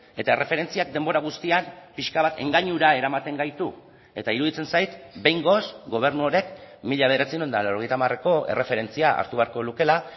eta erreferentziak denbora guztian pixka bat engainura eramaten gaitu eta iruditzen zait behingoz gobernu honek mila bederatziehun eta laurogeita hamareko erreferentzia hartu beharko lukeela